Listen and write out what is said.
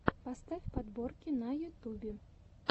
поставь подборки на ютубе